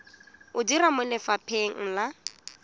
o dira mo lefapheng la